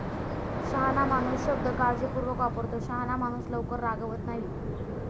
शहाणा माणूस शब्द काळजीपूर्वक वापरतो. शहाणा माणूस लवकर रागावत नाही.